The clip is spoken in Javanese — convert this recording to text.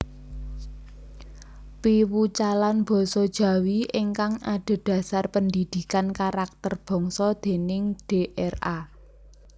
Piwucalan Basa Jawi Ingkang Adhedhasar Pendidikan Karakter Bangsa déning Dra